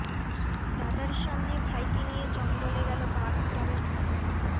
দাদার সামনে ভাইকে নিয়ে জঙ্গলে গেল বাঘ পরের খবর